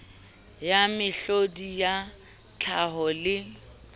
ya mehlodi ya tlhaho le